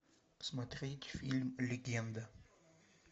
смотреть фильм легенда